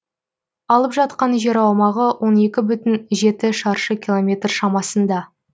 алып жатқан жер аумағы он екі бүтін жеті шаршы километр шамасында